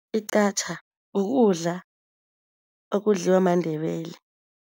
igqatjha kukudla okudliwa maNdebele.